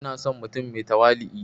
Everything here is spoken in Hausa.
Ina son mutum mai tawali'u